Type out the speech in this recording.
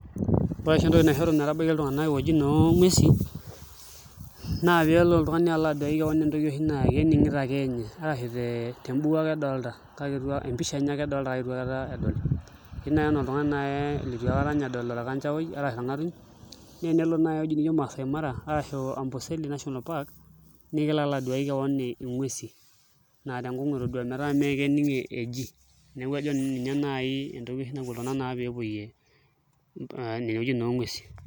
Ore oshi entoiki naishoru metabaiki iltung'anak iwuejitin oonguesin naa pee ele oltung'ani alo aduaki keon entoki naa kening'ito ake ninye arashu te mbuku ake edolta, empisha enye ake edolta kake itu akata edol, etiu naai enaa oltung'ani litu akata ninye edol orkanchaoi arashu orng'atuny naa enelo naai ewuei nijio Masaai Mara arashu Amboseli National Park naa kelo alo aduaki keon nguesin naa tenkong'u etodua metaa mee kening' eji neeku ajo nanu ninye naai entoki oshi napuo iltung'anak naa pee epuoie uwuejitin oonguesin.